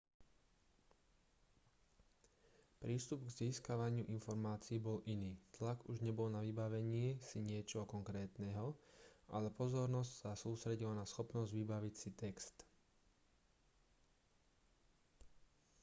prístup k získavaniu informácií bol iný tlak už nebol na vybavení si niečoho konkrétneho ale pozornosť sa sústredila na schopnosť vybaviť si text